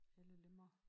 Alle lemmer